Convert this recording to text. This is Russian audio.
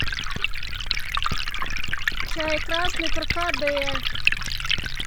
чай красный каркаде